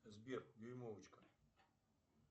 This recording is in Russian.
сбер дюймовочка